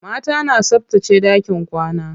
Mata na tsabtace ɗakin kwana.